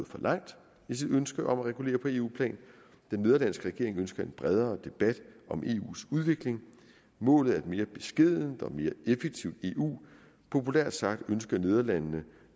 for langt i sit ønske om at regulere på eu plan den nederlandske regering ønsker en bredere debat om eus udvikling målet er et mere beskedent og mere effektivt eu populært sagt ønsker nederlandene